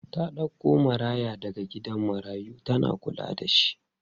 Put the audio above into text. Ta ɗauko maraya daga gidan marayu tana kulla da shi.